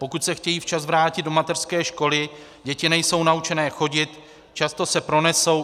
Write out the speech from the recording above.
Pokud se chtějí včas vrátit do mateřské školy, děti nejsou naučené chodit, často se pronesou.